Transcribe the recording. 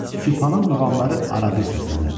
Sübhanın muğamları arabir səslənirdi.